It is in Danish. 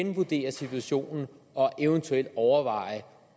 revurdere situationen og eventuelt overveje